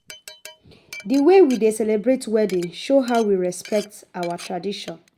The way we dey celebrate wedding show how we respect our tradition.